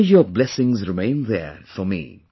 May your blessings remain there for me